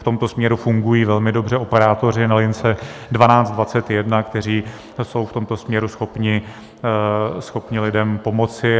V tomto směru fungují velmi dobře operátoři na lince 1221, kteří jsou v tomto směru schopni lidem pomoci.